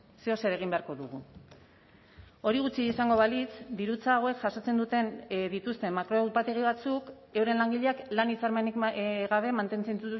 zeozer egin beharko dugu hori gutxi izango balitz dirutza hauek jasotzen duten dituzten makro upategi batzuk euren langileak lan hitzarmenik gabe mantentzen